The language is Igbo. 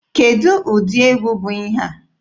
Kedụ ụdị egwu bụ ihe a?